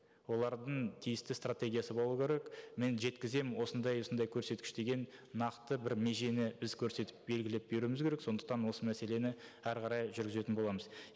олардың тиісті стратегиясы болу керек мен жеткіземін осындай осындай көрсеткіш деген нақты бір межені біз көрсетіп белгілеп беруіміз керек сондықтан осы мәселені әрі қарай жүргізетін боламыз